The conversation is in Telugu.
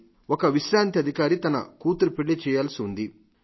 మరి ఒక విశ్రాంత అధికారి కూతురు పెళ్లి చేయాల్సివుంది